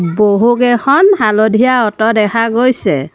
বহুকেইখন হালধীয়া অটো দেখা গৈছে।